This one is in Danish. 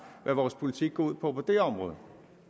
hvad vores politik går ud på på det område